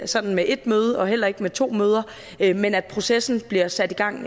sådan med et møde og heller ikke med to møder men at processen bliver sat i gang